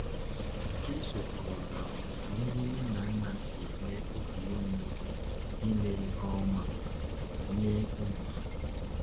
Jésù kọwara otú ndị nne na nna si enwe obi ime ihe ime ihe ọma nye ụmụ ha.